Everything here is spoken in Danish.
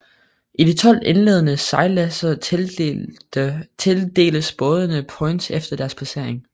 I de 12 indledende sejladser tildeles bådene points efter deres placering